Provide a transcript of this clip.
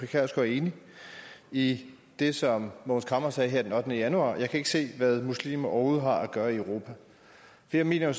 kjærsgaard er enig i det som mogens camre sagde her den ottende januar jeg kan ikke se hvad muslimer overhovedet har at gøre i europa jeg mener